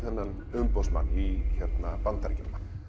umboðsmann í Bandaríkjunum